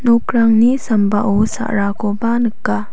nokrangni sambao sa·rakoba nika.